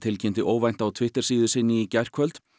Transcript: tilkynnti óvænt á Twittersíðu sinni í gærkvöld